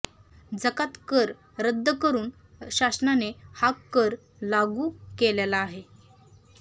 जकात कर रद्द करून शासनाने हा कर लागू केलेला आहे